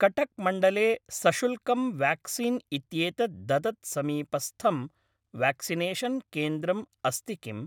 कटक् मण्डले सशुल्कं व्याक्सीन् इत्येतत् ददत् समीपस्थं व्याक्सिनेषन् केन्द्रम् अस्ति किम्?